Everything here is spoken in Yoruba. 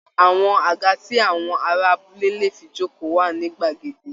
Àwọn àga tí àwọn ará abúlé lè fi jókòó wà ní gbàgede